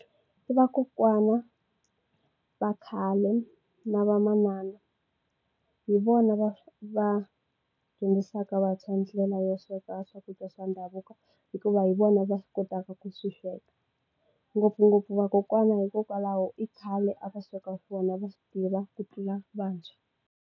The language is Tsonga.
Vakokwana va khale na vamanana hi vona va va dyondzisaka vantshwa ndlela ya sweka swakudya swa ndhavuko hikuva hi vona va swi kotaka ku swi sweka ngopfungopfu vakokwana hikokwalaho i khale a va sweka swona va swi tiva ku tlula vantshwa.